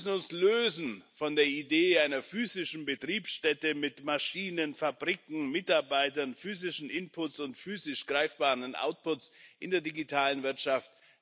Wir müssen uns lösen von der Idee einer physischen Betriebsstätte, mit Maschinen, Fabriken, Mitarbeitern, physischen Inputs und physisch greifbaren Outputs in der digitalen Wirtschaft.